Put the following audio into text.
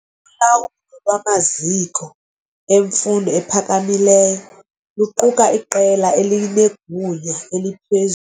Ulawulo lwamaziko emfundo ephakamileyo luquka iqela elinegunya eliphezulu.